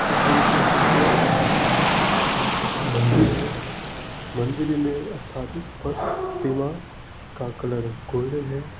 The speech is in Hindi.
घर के आगे एक मंदिर है। मन्दिर में स्थापित प्रतिमा का कलर गोल्डन है।